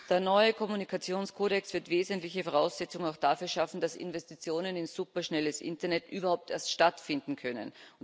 Der neue Kommunikationskodex wird wesentliche Voraussetzungen auch dafür schaffen, dass Investitionen in superschnelles Internet überhaupt erst stattfinden können.